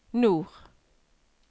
nord